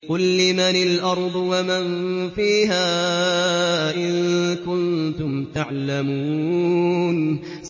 قُل لِّمَنِ الْأَرْضُ وَمَن فِيهَا إِن كُنتُمْ تَعْلَمُونَ